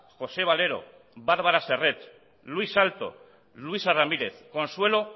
josé valero bárbara serret luis salto luisa ramírez consuelo